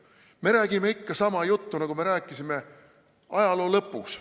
Me räägime ikka sama juttu, nagu me rääkisime ajaloo lõpus.